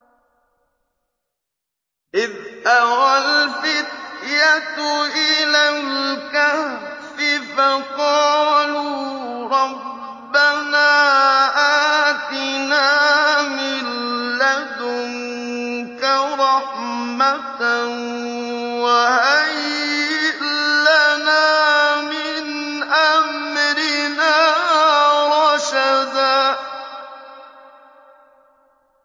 إِذْ أَوَى الْفِتْيَةُ إِلَى الْكَهْفِ فَقَالُوا رَبَّنَا آتِنَا مِن لَّدُنكَ رَحْمَةً وَهَيِّئْ لَنَا مِنْ أَمْرِنَا رَشَدًا